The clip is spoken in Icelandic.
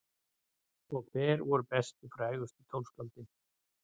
Og hver voru bestu og frægustu tónskáldin?